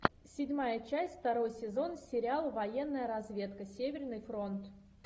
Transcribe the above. седьмая часть второй сезон сериал военная разведка северный фронт